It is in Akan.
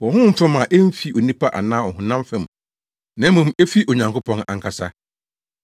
wɔ honhom fam a emfi onipa anaa ɔhonam fam, na mmom efi Onyankopɔn ankasa.